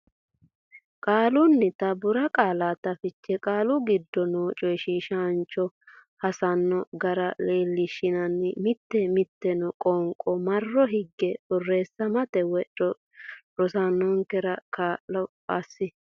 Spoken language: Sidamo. qaallannita borqaallate fiche Qaalu giddo noo coyshiishaancho hassanno gara leellishshanni mitii mitanno qoonqo marro higge borreessamate woy rosaanora kaa lo assi.